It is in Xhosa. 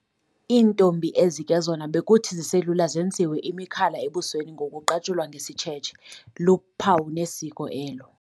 IIntombi ezi ke zona bekuthi ziselula zenziwe imikhala ebusweni ngokuqatshulwa ngesitshethse, luphawu nesiko elo.